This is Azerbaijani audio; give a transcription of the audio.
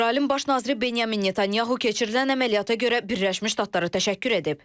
İsrailin Baş naziri Benyamin Netanyahu keçirilən əməliyyata görə Birləşmiş Ştatlara təşəkkür edib.